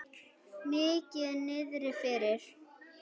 Mikið niðri fyrir.